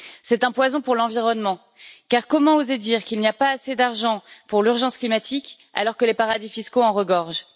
C'est un poison pour l'environnement car comment oser dire qu'il n'y a pas assez d'argent pour l'urgence climatique, alors que les paradis fiscaux en regorgent?